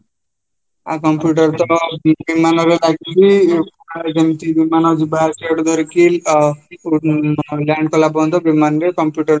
ଆଉ computer ତ ମାନଙ୍କରେ ଲାଗିକି ବିମାନ ଯିବା ଆସିବାଠୁ ଧରିକି ଆଁ land କଲାପର୍ଯନ୍ତ ବିମାନରେ computer